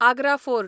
Agra fort